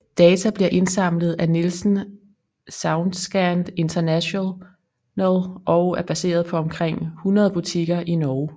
Data bliver indsamlet af Nielsen Saoundscan International og er baseret på omkring 100 butikker i Norge